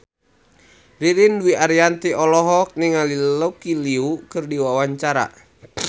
Ririn Dwi Ariyanti olohok ningali Lucy Liu keur diwawancara